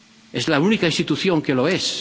Es la única institución que lo